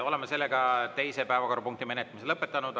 Oleme teise päevakorrapunkti menetlemise lõpetanud.